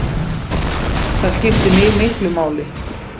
Það skipti mig miklu máli